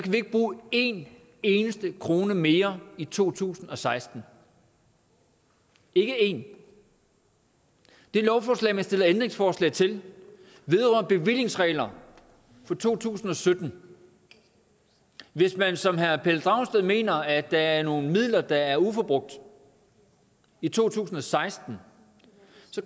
vi ikke bruge en eneste krone mere i to tusind og seksten ikke en det lovforslag man stiller ændringsforslag til vedrører bevillingsregler for to tusind og sytten hvis man som herre pelle dragsted mener at der er nogle midler der er uforbrugt i to tusind og seksten